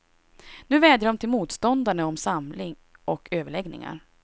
Nu vädjar de till motståndarna om samling och överläggningar.